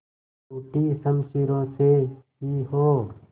टूटी शमशीरों से ही हो